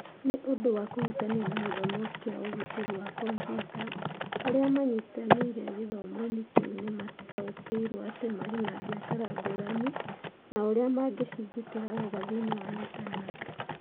Nĩ ũndũ wa kũhutania na gĩthomo kĩa ũgitĩri wa kompiuta, arĩa manyitanĩire gĩthomo-inĩ kĩu nĩ maataũkĩirũo atĩ marĩ na biacara ngũrani na ũrĩa mangĩcigitĩra wega thĩinĩ wa Intaneti.